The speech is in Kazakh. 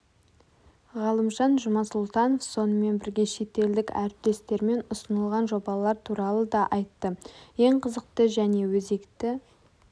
ғалымжан жұмасұлтанов сонымен бірге шет елдік әріптестермен ұсынылған жобалар туралы да айтты ең қызықты және өзекті